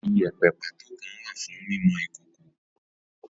Ìyépẹ pàtó kan wà fún mímọ Ìkókò.